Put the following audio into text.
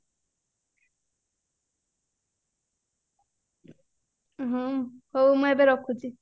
ହ୍ମ ହଉ ମୁଁ ଏବେ ରଖୁଚି